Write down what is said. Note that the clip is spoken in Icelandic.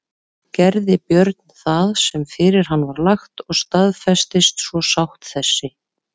Gerði Björn það sem fyrir hann var lagt og staðfestist svo sátt þessi.